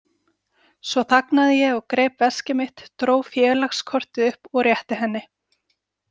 Svo þagnaði ég og greip veskið mitt, dró félagskortið upp og rétti henni.